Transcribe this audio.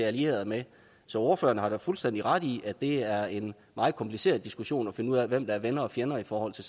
alliere sig med så ordføreren har da fuldstændig ret i at det er en meget kompliceret diskussion at finde ud af hvem der er venner og fjender i forhold til